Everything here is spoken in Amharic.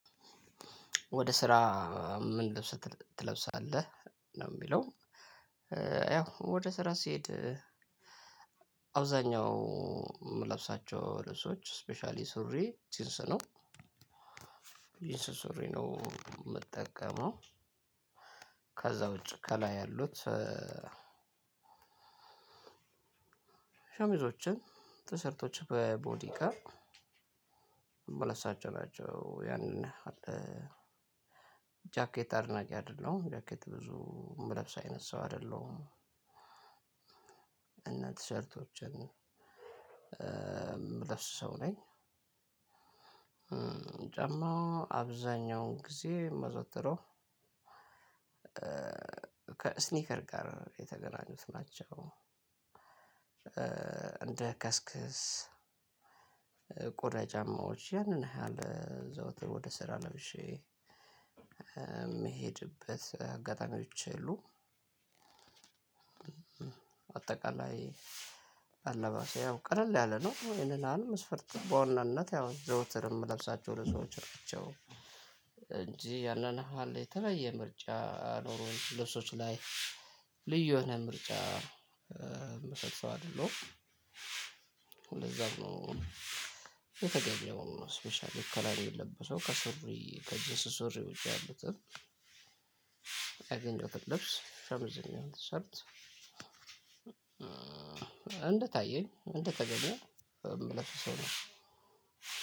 ወደ ስራ ምን ልብስ ትለ ትለብሳለህ ነው የሚለው? ያው ወደ ስራ ስሄድ አብዛኛው ምለብሳቸው ልብሶች ስፔሻሊ ሱሪ ጂንስ ነው። ጂንስ ሱሪ ነው ምጠቀመው። ከዛ ውጪ ከላይ ያሉት ሸሚዞችን ቲሸርቶችን በቦዲ ጋር የምለብሳቸው ናቸው። ያንን ያህል ጃኬት አድናቂ አይደለሁም ጃኬት ብዙ ምለብስ አይነት ሰው አይደለሁም። እና ቲሸርቶችን ምለብስ ሰው ነኝ። ጫማ አብዛኛውን ጊዜ ማዘወትረው ከእስኒከር ጋር የተገናኙት ናቸው። እንደ ከስክስ ቆዳ ጫማዎች ያንን ያህል ዘውትር ወደ ስራ ለብሼ ምሄድበት አጋጣሚዎች የሉም። አጠቃላይ አለባበሴ ያው ቀለል ያለ ነው። ይሄንን መስፈርት በዋናነት ያው ዘውትር የምለብሳቸው ልብሶች ናቸው። እንጂ ያንን ያህል የተለየ ምርጫ ኖሮኝ ልብሶች ላይ ልዩ የሆነ ምርጫ ምሰጥ ሰው አይደለሁም። ለዛም ነው። የተገኘውን ስፔሻሊ ከላይ ሚለበሰው ከሱሪ ከጅንስ ሱሪ ውጪ ያሉትም ያገኘሁትን ልብስ ሸሚዝም ይሆን ቲሸርት እንደታየኝ እንደተገኘ ምለብስ ሰው ነኝ።